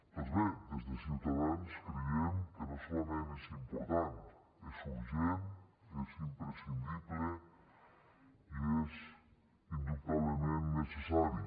doncs bé des de ciutadans creiem que no solament és important és urgent és imprescindible i és indubtablement necessari